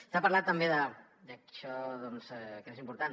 s’ha parlat també d’això que és important